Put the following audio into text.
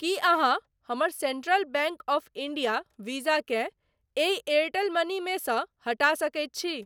की अहाँ हमर Central Bank of India Visa केँ एहि एयरटेल मनी मे सँ हटा सकैत छी?